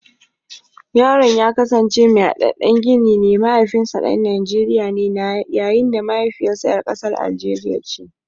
Yaron ya kasance mai hadaddan gini ne, mahaifinsa dan Najeriya ne yayin da mahaifiyarsa ‘yar kasar Algeria ce.